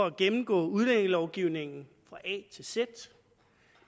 at gennemgå udlændingelovgivningen fra a til z